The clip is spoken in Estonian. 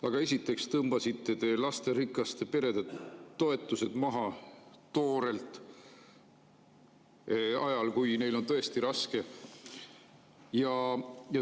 Aga esiteks tõmbasite te lasterikaste perede toetused toorelt maha ajal, kui neil on tõesti raske.